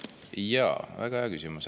Jaa, väga hea küsimus.